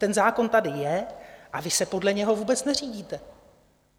Ten zákon tady je a vy se podle něho vůbec neřídíte.